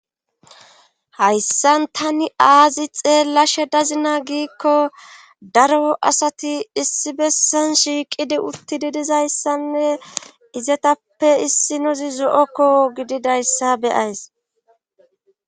hayssan tani aazi xeellasha dazina giikko daro asati issi bessan shiiqidi utti didizayssanne izetappe issinozi zo7okko gididayssa beyays